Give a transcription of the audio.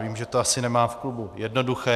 Vím, že to asi nemá v klubu jednoduché.